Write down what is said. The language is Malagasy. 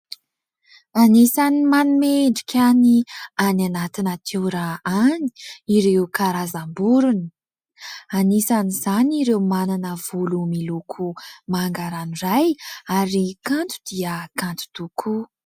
Anisan'ny manome endrika ny any anaty natiora any ireo karazam-borona. Anisan'izany ireo manana volo miloko manga ranoray ary kanto dia kanto tokoa.